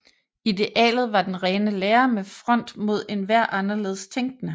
Idealet var den rene lære med front mod enhver anderledes tænkende